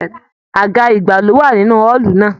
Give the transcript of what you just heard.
Àga igba lo wà nínú ọọlú náà.